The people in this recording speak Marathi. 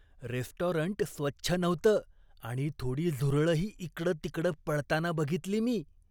रेस्टॉरंट स्वच्छ नव्हतं आणि थोडी झुरळंही इकडंतिकडं पळताना बघितली मी.